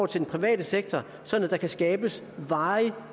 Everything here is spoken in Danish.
til den private sektor sådan at der kan skabes varig